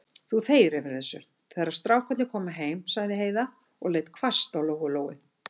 Þú þegir yfir þessu, þegar strákarnir koma heim, sagði Heiða og leit hvasst á Lóu-Lóu.